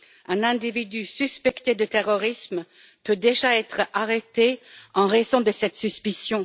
Un individu suspecté de terrorisme peut déjà être arrêté en raison de cette suspicion.